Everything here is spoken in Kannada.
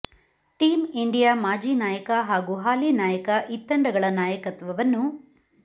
ಟೀಂ ಇಂಡಿಯಾ ಮಾಜಿ ನಾಯಕ ಹಾಗೂ ಹಾಲಿ ನಾಯಕ ಇತ್ತಂಡಗಳ ನಾಯಕತ್ವವನ್ನು